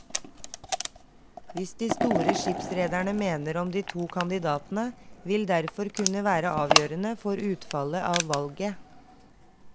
Hva de store skipsrederne mener om de to kandidatene vil derfor kunne være avgjørende for utfallet av valget.